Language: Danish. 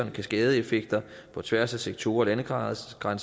kaskadeeffekter på tværs af sektorer og landegrænser